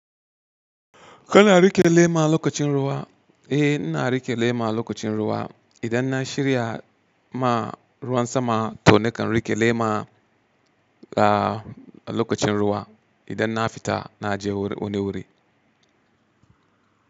Kana riƙe lema lokacin ruwa? Eh, ina riƙe lema lokacin ruwa. Idan na shirya ma ruwan sama, to nakan riƙe lema a lokacin ruwa. Idan na fita, na je wani wuri.